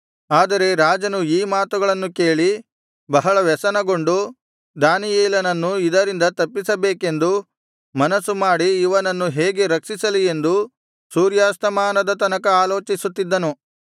ಆದರೆ ರಾಜನು ಈ ಮಾತುಗಳನ್ನು ಕೇಳಿ ಬಹಳ ವ್ಯಸನಗೊಂಡು ದಾನಿಯೇಲನನ್ನು ಇದರಿಂದ ತಪ್ಪಿಸಬೇಕೆಂದು ಮನಸ್ಸುಮಾಡಿ ಇವನನ್ನು ಹೇಗೆ ರಕ್ಷಿಸಲಿ ಎಂದು ಸೂರ್ಯಾಸ್ತಮಾನದ ತನಕ ಆಲೋಚಿಸುತ್ತಿದ್ದನು